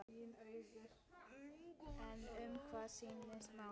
En um hvað snýst málið?